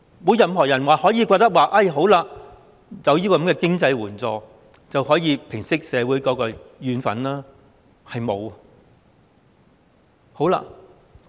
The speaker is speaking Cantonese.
沒有任何人表示，只要有這些經濟援助，便可以平息社會的怨憤，是沒有的。